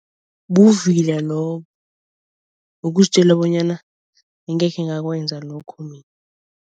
Buvila lobo. Ukuzitjela bonyana angeke ngakwenza lokho mina.